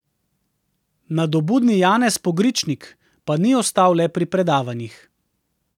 Nadobudni Janez Pogričnik pa ni ostal le pri predavanjih.